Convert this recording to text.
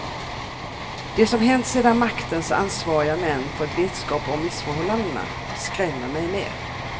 Det som hänt sedan maktens ansvariga män fått vetskap om missförhållandena skrämmer mig mer.